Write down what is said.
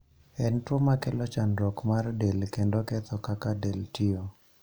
En tuo makelo chandruok mar del kendo ketho kaka del tiyo.